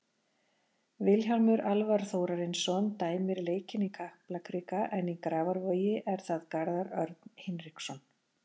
Vilhjálmur Alvar Þórarinsson dæmir leikinn í Kaplakrika en í Grafarvogi er það Garðar Örn Hinriksson.